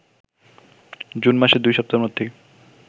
June মাসের ২ সপ্তাহের মধ্যেই